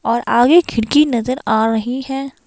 और आगे खिड़की नजर आ रही है।